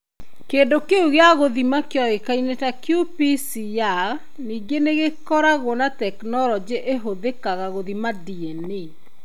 Kĩndũ kĩu gĩa gũthima kĩoĩkaine ta qPCR. Ningĩ nĩ gĩkoragwo na tekinolonjĩ ĩhothĩkaga gũthima DNA.